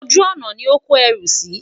ojú ònà ní ọ kò ẹrú sí